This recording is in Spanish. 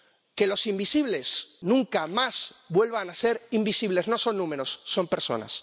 Que los invisibles nunca más vuelvan a ser invisibles no son números, son personas.